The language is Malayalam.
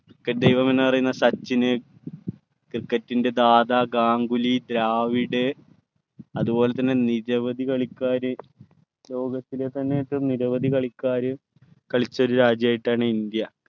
cricket ദൈവം എന്നറിയുന്ന സച്ചിന് cricket ൻ്റെ ദാദ ഗാംഗുലി ദ്രാവിഡ് അതുപോലെ തന്നെ നിരവധി കളിക്കാര് ലോകത്തിലെ തന്നെ നിരവധി കളിക്കാർ കളിച്ച ഒരു രാജ്യമായിട്ടാണ് ഇന്ത്യ